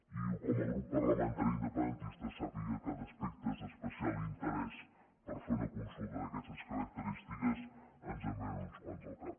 i com a grup parlamentari independentista sàpiga que d’aspectes d’especial interès per fer una consulta d’aquestes característiques ens en vénen uns quants al cap